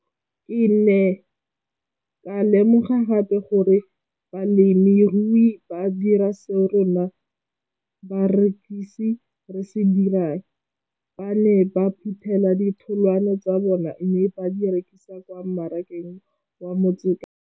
Ke ne ka lemoga gape gore balemirui ba dira seo rona barekisi re se dirang, ba ne ba phuthela ditholwana tsa bona mme ba di rekisa kwa marakeng wa Motsekapa.